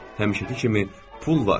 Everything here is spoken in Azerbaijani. Həmişəki kimi pul var.